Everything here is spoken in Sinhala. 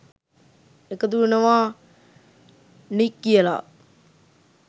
එකතු වෙනවා නික් කියලා.